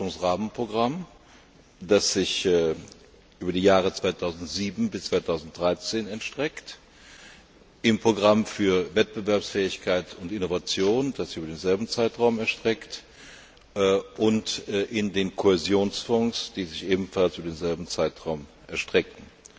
Forschungsrahmenprogramm, das sich über die Jahre 2007 bis 2013 erstreckt, im Programm für Wettbewerbsfähigkeit und Innovation, das sich über denselben Zeitraum erstreckt, und in den Kohäsionsfonds, die sich ebenfalls über denselben Zeitraum erstrecken.